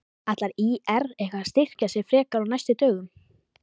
Ætlar ÍR eitthvað að styrkja sig frekar á næstu dögum?